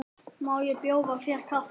Má bjóða þér kaffi?